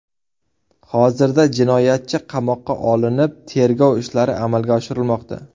Hozirda jinoyatchi qamoqqa olinib, tergov ishlari amalga oshirilmoqda.